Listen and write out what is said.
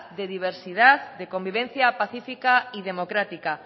de diversidad de convivencia pacífica y democrática